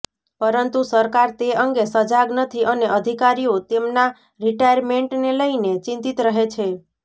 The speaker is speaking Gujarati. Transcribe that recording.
પરંતુ સરકાર તે અંગે સજાગ નથી અને અધિકારીઓ તેમના રિટાયરમેન્ટને લઇને ચિંતીત રહે છે